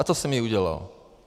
A to jsem i udělal.